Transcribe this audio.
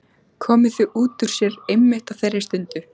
Komið því út úr sér einmitt á þeirri stundu.